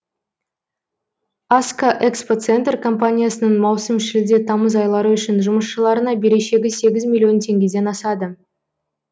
аска экспо центр компаниясының маусым шілде тамыз айлары үшін жұмысшыларына берешегі сегіз миллион теңгеден асады